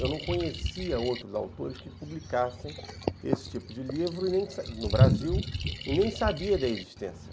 Eu não conhecia outros autores que publicassem esse tipo de livro no Brasil e nem sabia da existência.